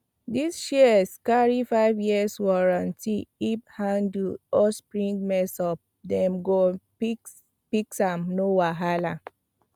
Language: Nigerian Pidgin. this shears carry five years warranty if handle or spring mess up dem go i fix am no wahala